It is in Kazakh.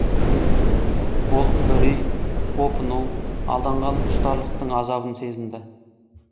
ол үрей опыну алданған құштарлықтың азабын сезінді